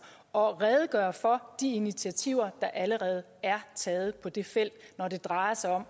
og redegøre for de initiativer der allerede er taget på det felt når det drejer sig om